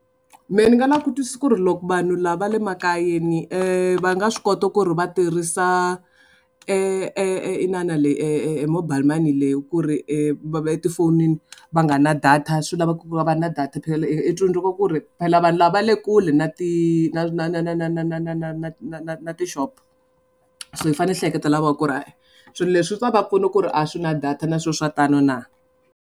Mehe ni nga lava ku twisisa ku ri loko vanhu lava va le makayeni va nga swi kota ku ri va tirhisa e e inana leyi e e e mobile money leyi ku ri va etifonini va nga na data swi lava ku va va ri na data phela i tsundzuka ku ri phela vanhu lava va le kule na ti na na na na na na na na na na na na na tixopo so yi fanele yi hleketela voho ku ri he-e swilo leswi swi ta va pfuna ku ri a swi na data na swilo swa tano na.